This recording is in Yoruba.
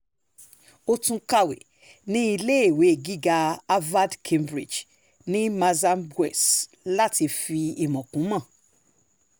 ó tún kàwé ní iléèwé gíga harvard cambridge ní massambwess láti fi ìmọ̀ kún ìmọ̀